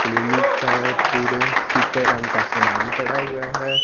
Clinic का है पूरे चिटे रंग का सामान पड़ा हुआ है।